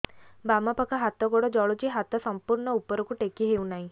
ବାମପାଖ ହାତ ଗୋଡ଼ ଜଳୁଛି ହାତ ସଂପୂର୍ଣ୍ଣ ଉପରକୁ ଟେକି ହେଉନାହିଁ